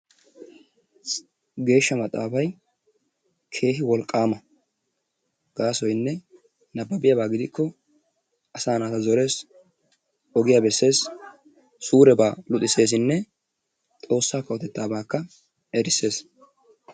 Geeshsha maxaafay keehi wolqqaama. Gaasoynne nabbabiyaba gidikko asaa naata zorees, ogiya beessees, suurebaa luxisseesinne xoossaa kawotettaabaakka erissees.